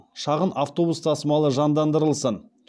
шағын автобус тасымалы жандандырылсын